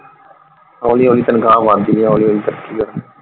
ਹੋਲੀ ਹੋਲੀ ਤਨਖਾ ਵਧਦੀ ਆ ਹੋਲੀ ਹੋਲੀ ਤਰੱਕੀ .